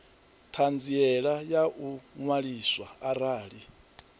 ṱhanziela ya u ṅwaliswa arali